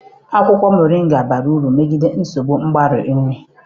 Akwụkwọ mọrịnga bara uru megide nsogbu mgbari nri.